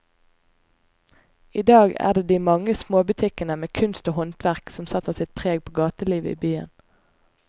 I dag er det de mange små butikkene med kunst og håndverk som setter sitt preg på gatelivet i byen.